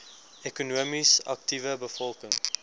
ekonomies aktiewe bevolking